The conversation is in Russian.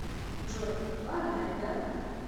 джой ладно ребята